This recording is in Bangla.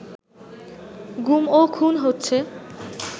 গুম ও খুন হচ্ছে